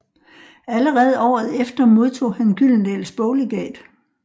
Allerede året efter modtog han i Gyldendals boglegat